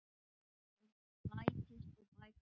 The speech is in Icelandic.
Það bætist og bætist við.